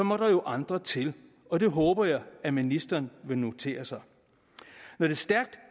må der jo andre til og det håber jeg at ministeren vil notere sig når det stærkt